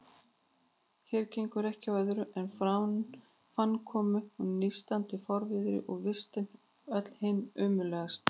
Hér gengur ekki á öðru en fannkomu og nístandi fárviðrum, og vistin öll hin ömurlegasta.